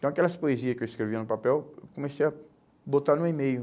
Então aquelas poesias que eu escrevia no papel, eu comecei a botar no e-mail.